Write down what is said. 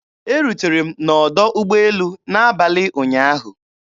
Erutere m na ọdọ ụgbọelu n'abalị ụnyaahụ.